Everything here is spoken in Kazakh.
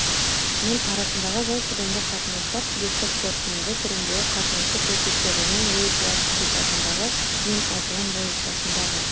мен арасындағы жай сөйлемді қатынастар себепті қорытынды түріндегі қатынасты көрсетеді және логикалар предикатындағы мен айтылым логикасындағы